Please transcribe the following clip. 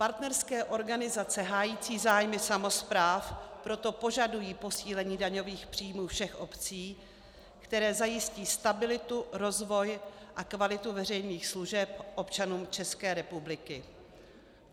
Partnerské organizace hájící zájmy samospráv proto požadují posílení daňových příjmů všech obcí, které zajistí stabilitu, rozvoj a kvalitu veřejných služeb občanům České republiky.